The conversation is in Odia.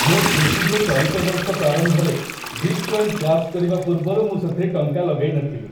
ମୁଁ ଖୁସି ଯେ ଚଳିତ ବର୍ଷ ପ୍ରାରମ୍ଭରେ ବିଟ୍ କଏନ୍ କ୍ରାଶ୍ କରିବା ପୂର୍ବରୁ ମୁଁ ସେଥିରେ ଟଙ୍କା ଲଗାଇନଥିଲି।